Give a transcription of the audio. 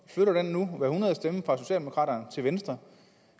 flytter den nu hver hundrede stemme fra socialdemokraterne til venstre